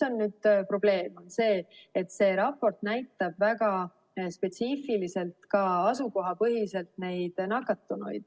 Probleem on see, et see raport näitab nakatunuid väga spetsiifiliselt, ka asukohapõhiselt.